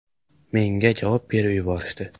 Menga javob berib yuborishdi.